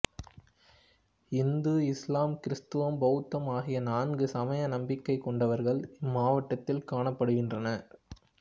இந்து இசுலாம் கிறித்தவம் பௌத்தம் ஆகிய நான்கு சமய நம்பிக்கை கொண்டவர்கள் இம்மாவட்டத்தில் காணப்படுகின்றனர்